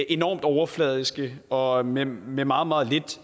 enormt overfladisk og med med meget meget lidt